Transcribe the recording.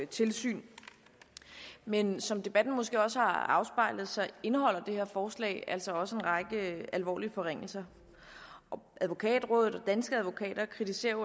tilsyn men som debatten måske også har afspejlet indeholder det her forslag altså også en række alvorlige forringelser advokatrådet og danske advokater kritiserer